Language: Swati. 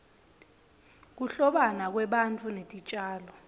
kuhlobana kwebantu netitjalo